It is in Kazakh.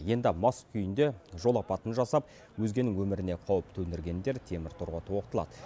енді мас күйінде жол апатын жасап өзгенің өміріне қауіп төндіргендер темір торға тоғытылады